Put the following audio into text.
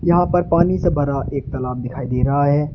यहां पर पानी से भरा एक तालाब दिखाई दे रहा है।